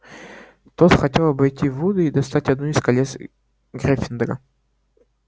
тот хотел обойти вуда и достать одно из колец гриффиндора